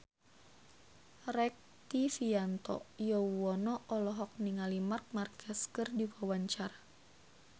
Rektivianto Yoewono olohok ningali Marc Marquez keur diwawancara